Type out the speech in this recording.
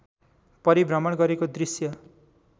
परिभ्रमण गरेको दृश्य